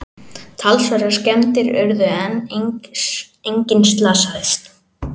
Talsverðar skemmdir urðu en enginn slasaðist